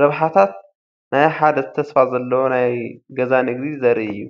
ረብሓታት ናይ ሓደ ተስፋ ዘለዎ ናይ ገዛ ንግዲ ዘርኢ እዩ።